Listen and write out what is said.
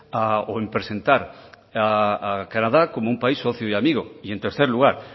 o en presentar a canadá como un país socio y amigo y en tercer lugar